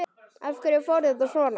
Af hverju fór þetta svona?